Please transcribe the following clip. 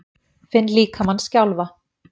Finn líkamann skjálfa.